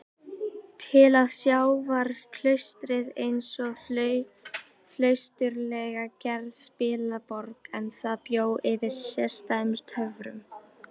Til að sjá var klaustrið einsog flausturslega gerð spilaborg, en það bjó yfir sérstæðum töfrum.